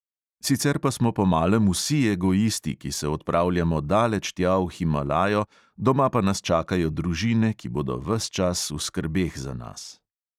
Sicer pa smo po malem vsi egoisti, ki se odpravljamo daleč tja v himalajo, doma pa nas čakajo družine, ki bodo ves čas v skrbeh za nas.